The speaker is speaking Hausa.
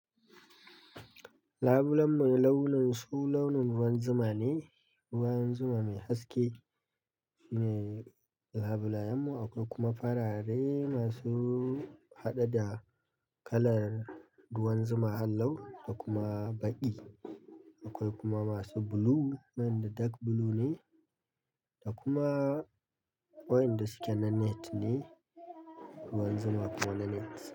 Labulen mai launin su launin ruwan zuma ne, ruwan zuma mai haske ne labulayen mu akwai kuma farare masu haɗe da kalar ruwan zuma hallau da kuma baƙi. Akwai kuma masu blue, waɗanda dark blue ne da kuma waɗanda suke na net ne, ruwan zuma kuma na net.